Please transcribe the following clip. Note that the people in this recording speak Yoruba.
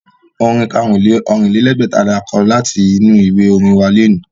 Orin karùn-ún-lé-Ọ̀rìnlẹ́gbẹ̀ta ni a kọ láti inú ìwé orin wa lónìí